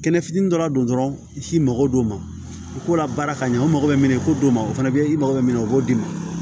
Kɛnɛ fitini dɔrɔn don dɔrɔn i mago don ko la baara ka ɲɛ u mako bɛ min ko ma o fana bɛ i mako bɛ min na o b'o d'i ma